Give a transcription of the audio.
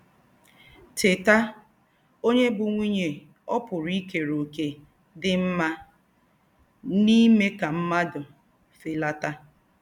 Tétà!: “Ònyè bú́ nwùnyè ò pùrù ìkèrè òkè dí́ m̀mà n’ímè ká m̀mùàdù félátà?